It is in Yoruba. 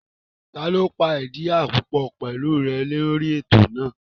Taló pàdí àpòpọ̀ pẹ̀lú rẹ̀ lórí ètò náà?